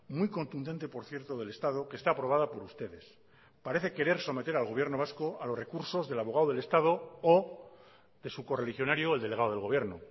muy contundente por cierto del estado que está aprobada por ustedes parece querer someter al gobierno vasco a los recursos del abogado del estado o de su correligionario el delegado del gobierno